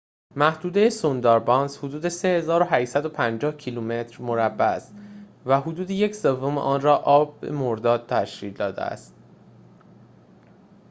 محدوده سونداربانس حدود 3,850 کیلومتر مربع است و حدود یک سوم آن را آب/مرداب تشکیل داده است